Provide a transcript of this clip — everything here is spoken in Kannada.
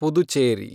ಪುದುಚೇರಿ